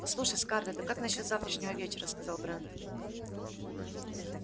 послушай скарлетт а как насчёт завтрашнего вечера сказал брент